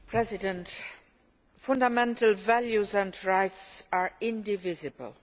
Mr President, fundamental values and rights are indivisible.